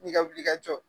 N'i ka wuli ka jɔ